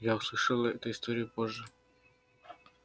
я услышала эту историю позже